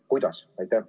Kuidas?